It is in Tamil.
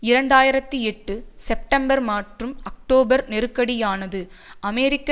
இரண்டு ஆயிரத்தி எட்டு செப்டம்பர் மற்றும் அக்டோபர் நெருக்கடியானது அமெரிக்க